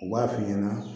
U b'a f'i ɲana